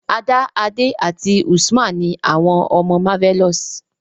Ada, Ade àti Usman ni àwọn ọmọ Marvelous.